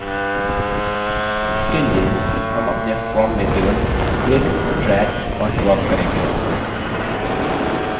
इसके लिए हम अपने form में केवल click drag और drop करेंगे